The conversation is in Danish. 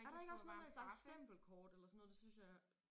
Er der ikke også noget med der stempelkort eller sådan noget det synes jeg jeg